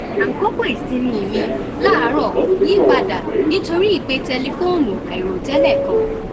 àkókò ìsinmi mi láàárò yí padà nítorí ìpè tẹlifóònù àìròtẹlẹ kan